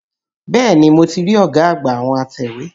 Bẹ́ẹ̀ni, mo ti rí ọ̀gá àgbà àwọn atẹ̀wé.